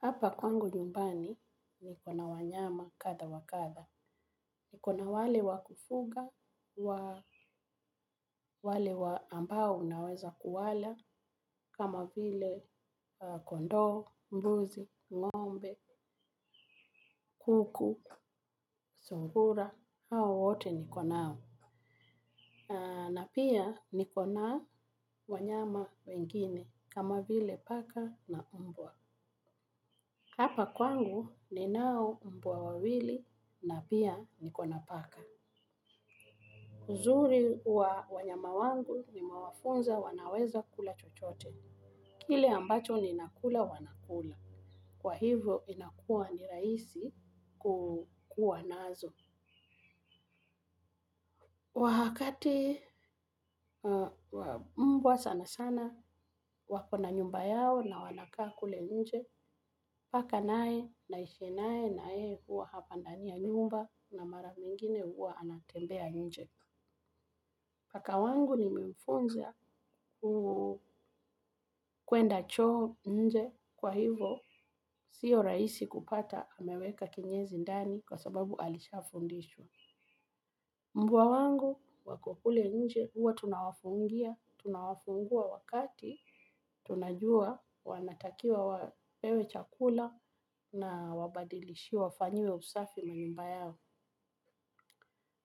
Hapa kwangu nyumbani nikona wanyama kadha wa kadha. Nikona wale wakufuga, wale ambao unaweza kuwala, kama vile kondoo, mbuzi, ng'ombe, kuku, sungura, hao wote nikonao. Na pia nikona wanyama wengine, kama vile paka na mbwa. Hapa kwangu ninao mbwa wawili na pia niko na paka. Uzuri wa wanyama wangu nime wafunza wanaweza kula chochote. Kile ambacho ninakula wanakula. Kwa hivyo inakuwa ni rahisi kukua nazo. Wakati mbwa sana sana wako na nyumba yao na wanakaa kule nje. Paka naye naishib naye na yeye huwa hapa ndani ya nyumba na mara nyingine huwa anatembea nje. Paka wangu nimemfunza kuenda choo nje kwa hivo sio rahisi kupata ameweka kinyezi ndani kwa sababu alisha fundishwa. Mbwa wangu wako kule nje huwa tunawafungia, tunawafungua wakati tunajua wanatakia wapewe chakula na wabadilishiwe wafanyiwe usafi manumba yao.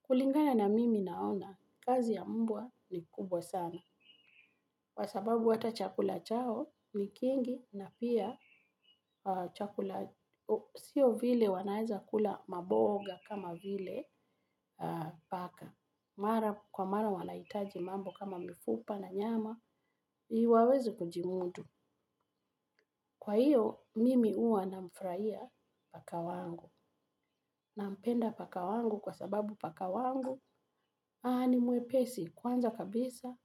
Kulingana na mimi naona, kazi ya mbwa ni kubwa sana. Kwa sababu hata chakula chao, ni kingi na pia chakula, sio vile wanaeza kula maboga kama vile paka. Kwa mara wanahitaji mambo kama mifupa na nyama, ili waweze kujimudu. Kwa hiyo, mimi huwa na mfurahia paka wangu. Nampenda paka wangu kwa sababu paka wangu, ni mwepesi kwanza kabisa,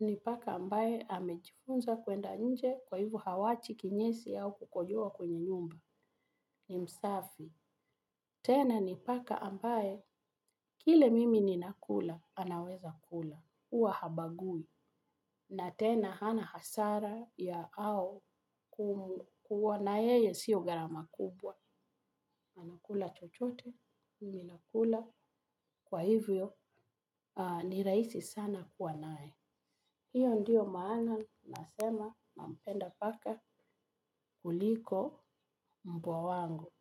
ni paka ambaye amejifunza kwenda nje kwa hivyo hawachi kinyesi au kukojoa kwenye nyumba, ni msafi. Tena ni paka ambaye, kile mimi ninakula, anaweza kula. Huwa habagui. Na tena hana hasara ya au kuwa na yeye sio gharama kubwa. Anakula chochote, ninakula, kwa hivyo ni raisi sana kuwa naye. Hiyo ndiyo maana, nasema, nampenda paka kuliko mbwa wangu.